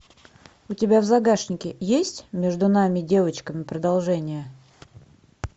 у тебя в загашнике есть между нами девочками продолжение